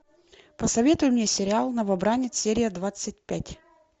посоветуй мне сериал новобранец серия двадцать пять